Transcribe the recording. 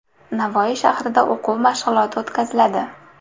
Navoiy shahrida o‘quv mashg‘uloti o‘tkaziladi.